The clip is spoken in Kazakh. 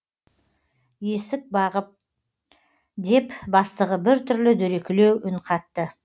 есік бағып деп бастығы біртүрлі дөрекілеу үн қатты